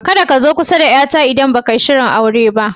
Ka da ka zo kusa da yar ta, idan ba ka yi sirin aure ba.